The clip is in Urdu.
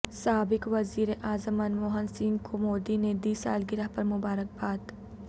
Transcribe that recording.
سابق وزیراعظم منموہن سنگھ کو مودی نے دی سالگرہ پر مبارک باددی